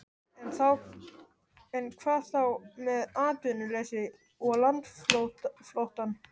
En hvað þá með atvinnuleysið og landflóttann?